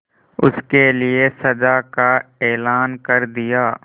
उसके लिए सजा का ऐलान कर दिया